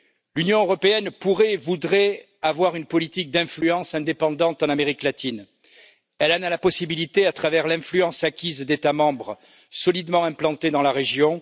L'Union européenne pourrait et voudrait avoir une politique d'influence indépendante en Amérique latine, elle en a la possibilité à travers l'influence acquise d'États membres solidement implantés dans la région.